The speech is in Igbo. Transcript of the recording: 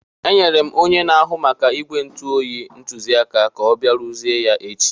Enyere m onye na-ahụ maka ígwè ntu oyi ntụziaka ka ọ bịa rụzie ya echi.